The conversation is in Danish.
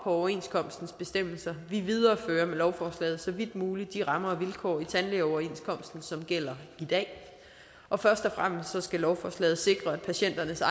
overenskomstens bestemmelser vi viderefører med lovforslaget så vidt muligt de rammer og vilkår i tandlægeoverenskomsten som gælder i dag og først og fremmest skal lovforslaget sikre at patienternes